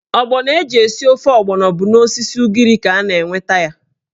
Ọgbọnọ eji esi ofe ọgbọnọ bụ n'osisi ugiri ka a na-enweta ya.